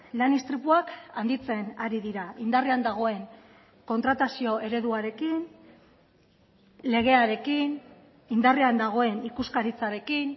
lan istripuak handitzen ari dira indarrean dagoen kontratazio ereduarekin legearekin indarrean dagoen ikuskaritzarekin